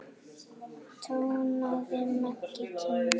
tónaði Maggi kynnir.